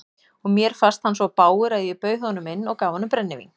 Og mér fannst hann svo bágur að ég bauð honum inn og gaf honum brennivín.